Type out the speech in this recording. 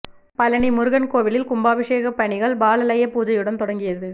பழநி முருகன் கோவிலில் கும்பாபிஷேக பணிகள் பாலாலய பூஜையுடன் தொடங்கியது